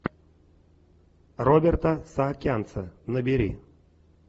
роберта саакянца набери